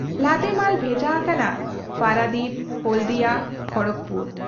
ᱞᱟᱫᱮ ᱢᱟᱞ ᱵᱷᱮᱡᱟ ᱟᱠᱟᱱᱟ ᱯᱟᱨᱟᱫᱤᱯ, ᱦᱚᱞᱫᱤᱭᱟ, ᱠᱷᱚᱲᱚᱜᱽᱯᱩᱨ ᱾